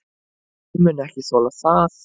Hann mun ekki þola það.